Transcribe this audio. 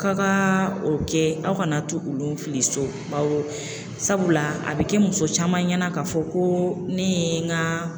K'aw ka o kɛ aw kana tu olu fili so bawɔ sabula a bɛ kɛ muso caman ɲɛna k'a fɔ ko ne ye n ka